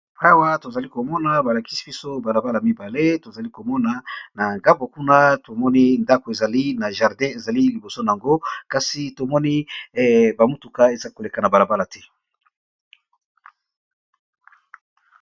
Awa tozalikomona balabala mibale tozalikomona na ngambo kuna ba ndako ezali pe na jardin kasi tomoni ba mutuka ezal koleka te.